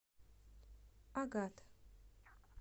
агат